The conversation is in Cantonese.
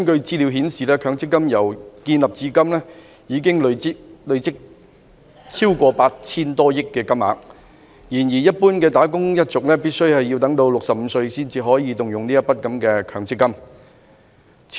資料顯示，強積金由成立至今，已經累積超過 8,000 多億元，但一般的"打工一族"必須年滿65歲才可動用強積金。